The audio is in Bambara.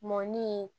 Mɔni